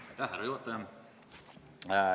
Austatud härra juhataja!